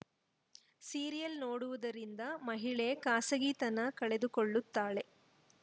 serial ನೋಡುವುದರಿಂದ ಮಹಿಳೆ ಖಾಸಗಿತನ ಕಳೆದುಕೊಳ್ಳುತ್ತಾಳೆ